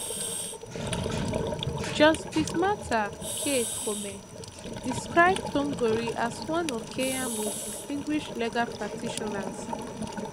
justice martha k koome describe thongori as one of kenya most distinguished legal practitioners